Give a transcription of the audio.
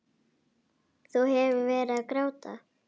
Þú hefur verið að gráta!